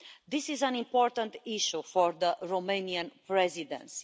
This is an important issue for the Romanian Presidency.